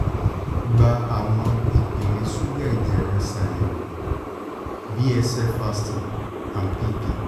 gba awọn ipele suga ẹjẹ rẹ ṣayẹwo [c] bsl fasting and pp